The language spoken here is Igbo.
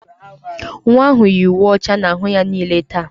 Nwa ahụ yi uwe ọcha n'ahụ ya niile taa.